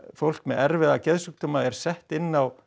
fólk með erfiða geðsjúkdóma er sett inn á